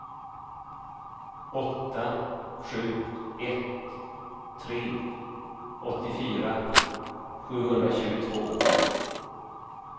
åtta sju ett tre åttiofyra sjuhundratjugotvå